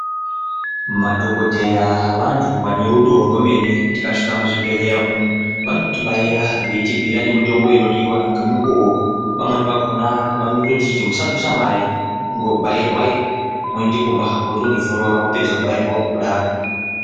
Madhokodheya vantu vane rudo rwemene tika svika mu zvibhedhlera umu vanoti baira veiti bhuyira mutombo inodiwa nge mukuwo pamweni pakona vanototiti musa budisa mare ingo bairwai moende kumba wotondo zorora wapedza ku bairwa kudaro.